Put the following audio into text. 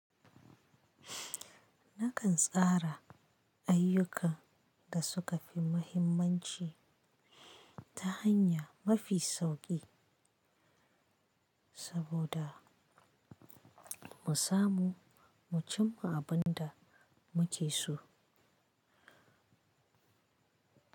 Nakan tsara ayyukan da suka fi mahimmanci ta hanya mafi sauƙi saboda mu samu mu cimma abin da muke so.